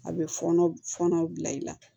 A bɛ fɔɔnɔ fɔnɔ bila i la